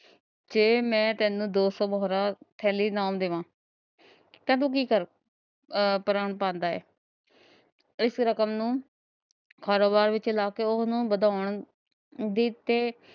ਤੇ ਮੈਂ ਤੈਨੂੰ ਦੋ ਸੋ ਮੋਰਾਂ ਥੈਲੀ ਨਾਲ ਦੇਮਾ ਤਾਂ ਤੂੰ ਕੀ ਕਰੇ। ਇਸ ਰਕਮ ਨੂੰ ਉਹ ਉਹਨੂੰ ਵਦੋਂਣ ਦੀ ਤੇ